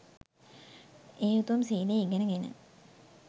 ඒ උතුම් සීලය ඉගෙනගෙන